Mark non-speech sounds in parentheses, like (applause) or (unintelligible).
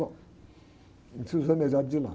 Bom, (unintelligible) os (unintelligible) de lá.